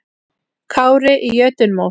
Kári í jötunmóð.